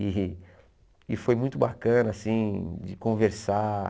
E e foi muito bacana, assim, de conversar.